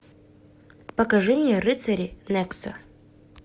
покажи мне рыцари нексо